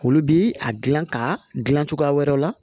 Olu bi a gilan ka gilan cogoya wɛrɛw la